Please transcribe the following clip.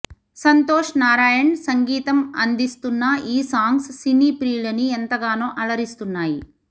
సంతోష్ నారాయణ్ సంగీతం అందిశున్న ఈ సాంగ్స్ సినీ ప్రియులని ఎంతగానో అలరిస్తున్నాయి